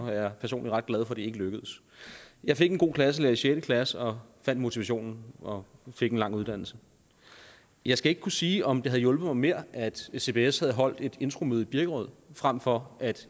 jeg personligt ret glad for det ikke lykkedes jeg fik en god klasselærer i sjette klasse og fandt motivationen og fik en lang uddannelse jeg skal ikke kunne sige om det havde hjulpet mig mere hvis cbs havde holdt et infomøde i birkerød frem for at